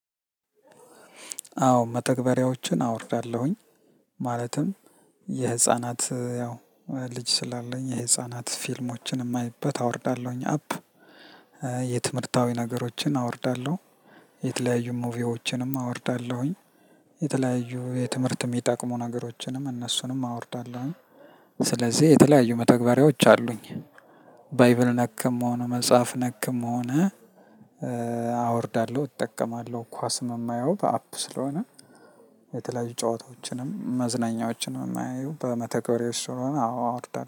አዎ መተግበሪያዎችን አወርዳለሁኝ ማለትም የህፃናት ያው ልጅ ስላለኝ የህፃናት ፊልሞችን የማይበት አወርዳለሁኝ አፕ የትምህርታዊ ነገሮችን አወርዳለሁ የተለያዩ ሙቪዎችንም አወርዳለሁኝ። የተለያዩ የትምህርት የሚጠቅሙ ነገሮችንም እነሱንም አወርዳለሁ። ስለዚህ የተለያዩ መተግበሪያዎች አሉኝ። ባይብል ነክም ሆነ መጽሐፍ ነክም ሆነ አወርዳለሁ እጠቀማለሁ ኳስም የማየው በአፕ ስለሆነ። የተለያዩ ጨዋታዎችንም መዝናኛዎችንም የማየው በመተግበሪያዎች ስለሆነ አዎ አወርዳለሁ